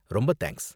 ரொம்ப தேங்க்ஸ்